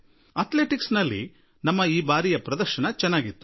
athletics ನಲ್ಲಿ ನಾವು ಈ ಸಲ ಉತ್ತಮ ಪ್ರದರ್ಶನ ನೀಡಿದ್ದೇವೆ